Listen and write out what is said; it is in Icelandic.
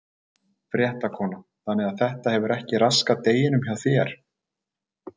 Fréttakona: Þannig að þetta hefur ekki raskað deginum hjá þér?